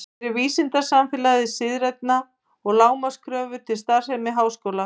Gerir vísindasamfélagið siðfræðilegar lágmarkskröfur til starfsemi háskóla?